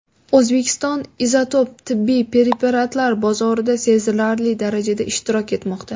O‘zbekiston izotop tibbiy preparatlar bozorida sezilarli darajada ishtirok etmoqda.